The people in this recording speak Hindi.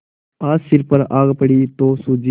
आज सिर पर आ पड़ी तो सूझी